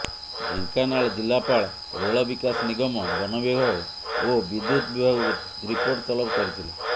ଢେଙ୍କାନାଳ ଜିଲ୍ଲାପାଳ ରେଳ ବିକାଶ ନିଗମ ବନ ବିଭାଗ ଓ ବିଦ୍ୟୁତ ବିଭାଗକୁ ରିପୋର୍ଟ ତଲବ କରିଥିଲେ